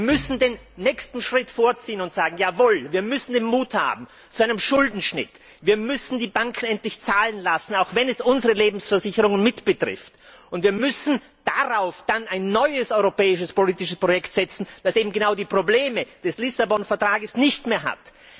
Wir müssen den nächsten Schritt vorziehen und sagen Jawohl, wir müssen den Mut zu einem Schuldenschnitt haben, wir müssen die Banken endlich zahlen lassen, auch wenn es unsere Lebensversicherungen mit betrifft, und wir müssen dann ein neues europäisches politisches Projekt errichten, das eben die Probleme des Lissabon Vertrags nicht mehr hat.